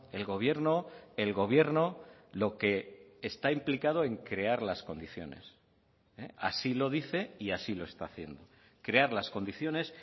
el gobierno el gobierno lo que está implicado en crear las condiciones así lo dice y así lo está haciendo crear las condiciones